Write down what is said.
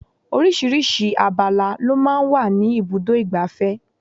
Oríṣiríṣi abala lọ máa ń wà ní ibùdó igbàfẹ́.